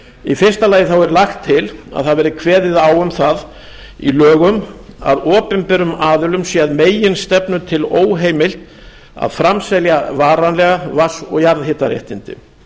í fyrsta lagi er lagt til að það verði kveðið á um í lögum að opinberum aðilum sé að meginstefnu til óheimilt að framselja varanlega vatns og jarðhitaréttindi